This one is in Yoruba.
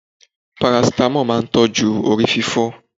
Parasítámọ̀ máa tójú orí fífọ́.